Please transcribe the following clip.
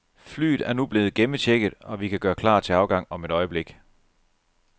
Flyet er nu blevet gennemchecket, og vi kan gøre klar til afgang om et øjeblik.